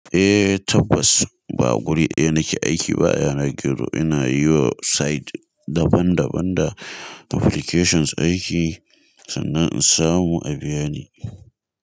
Eh tabbas ba guri ɗaya nake aiki ba, yana gero ina yiwa site daban daban da applications aiki sannan in samu a biya ni.